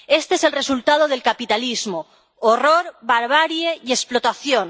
Este es el resultado del capitalismo horror, barbarie y explotación.